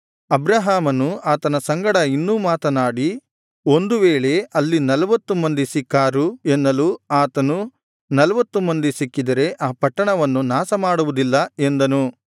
ಅಬ್ರಹಾಮನು ಆತನ ಸಂಗಡ ಇನ್ನೂ ಮಾತನಾಡಿ ಒಂದು ವೇಳೆ ಅಲ್ಲಿ ನಲ್ವತ್ತು ಮಂದಿ ಸಿಕ್ಕಾರು ಎನ್ನಲು ಆತನು ನಲ್ವತ್ತು ಮಂದಿ ಸಿಕ್ಕಿದರೆ ಆ ಪಟ್ಟಣವನ್ನು ನಾಶ ಮಾಡುವುದಿಲ್ಲ ಎಂದನು